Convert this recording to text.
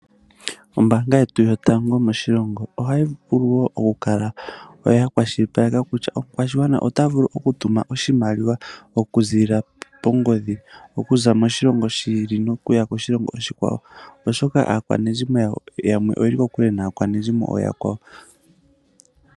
Ombaanga yetu yotango moshilongo ohayi vulu wo okukala ya kwashilipaleka kutya omukwashigwana ota vulu oku tuma oshumaliwa okuziilia kongodhi okuza moshilongo shi ili nokuya koshilongo oshikwawo oshoka aakwashigwana yamwe oyi ili kokule.